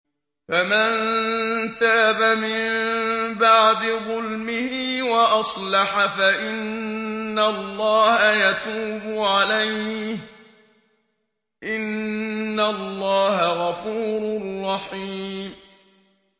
فَمَن تَابَ مِن بَعْدِ ظُلْمِهِ وَأَصْلَحَ فَإِنَّ اللَّهَ يَتُوبُ عَلَيْهِ ۗ إِنَّ اللَّهَ غَفُورٌ رَّحِيمٌ